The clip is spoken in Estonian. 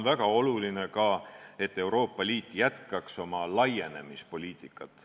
Väga oluline on ka, et Euroopa Liit jätkaks oma laienemispoliitikat.